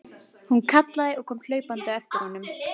Hún kallaði og kom hlaupandi á eftir honum.